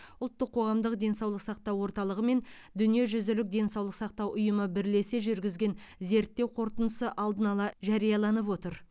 ұлттық қоғамдық денсаулық сақтау орталығы мен дүниежүзілік денсаулық сақтау ұйымы бірлесе жүргізген зерттеу қорытындысы алдын ала жарияланып отыр